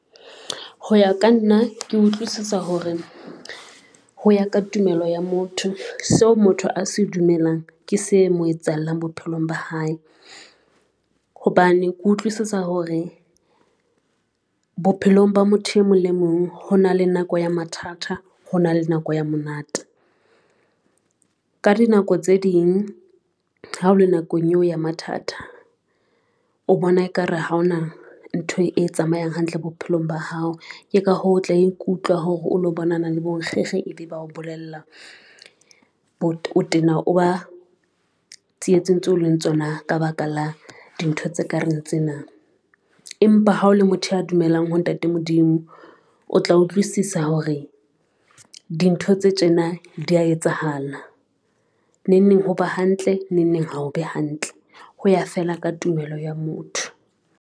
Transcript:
Ho ya ka nna, ke utlwisisa hore ho ya ka tumelo ya motho seo motho a se dumelang ke se mo etsahallang bophelong ba hae, hobane ke utlwisisa hore bophelong ba motho e mong le mong ho na le nako ya mathata ho na le nako ya monate. Ka dinako tse ding ha o le nakong eo ya mathata o bona ekare ha hona ntho e tsamayang hantle bophelong ba hao, ke ka hoo tla ikutlwa hore o lo bonana le bonkgekge ebe bao bolella ho o tena o ba tsietseng tseo leng tsona ka baka la dintho tse kareng tsena. Empa ha o le motho ya dumelang ho ntate Modimo o tla utlwisisa hore dintho tse tjena di a etsahala neng neng, ho ba hantle neng neng, ha o be hantle ho ya fela ka tumelo ya motho.